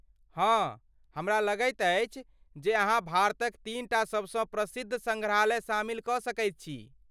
हँ! हमरा लगैत अछि जे अहाँ भारतक तीन टा सबसँ प्रसिद्ध सङ्ग्रहालय शामिल कऽ सकैत छी।